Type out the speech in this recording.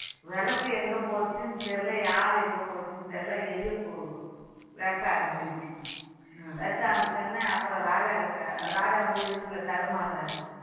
விளக்கு எங்க போச்சுன்னு தெரியல யாரு எங்க போச்சுன்னு தெரியல எலிய வேட்டை ஆடிடுச்சு வேட்டை ஆடிய உடனே அப்பறோம் ராஜா கிட்ட ராஜா வந்து இருட்டுல தடுமாறாரு